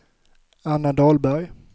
Anna Dahlberg